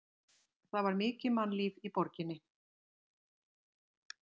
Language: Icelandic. Það var mikið mannlíf í borginni.